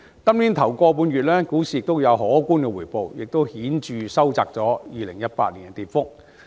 本年首一個半月股市有可觀的回報，亦顯著收窄了2018年的跌幅。